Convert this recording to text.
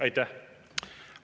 Aitäh!